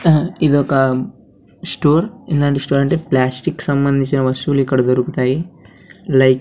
ఇదొక స్టోర్ ఇలాంటి స్టోర్ అంటే ప్లాస్టిక్ సంబంధించిన వస్తువులు ఇక్కడ దొరుకుతాయి లై--